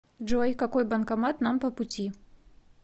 джой какой банкомат нам по пути